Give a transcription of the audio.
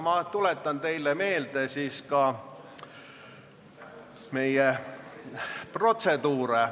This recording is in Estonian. Ma tuletan teile meelde meie protseduuri.